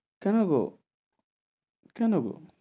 কেন গো? কেন গো?